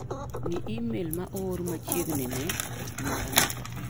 Ng'i imel ma oor machiegni ni mar ng'ato.